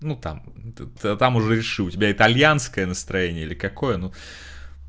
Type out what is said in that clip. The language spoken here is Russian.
ну там то там уже реши у тебя итальянское настроение или какое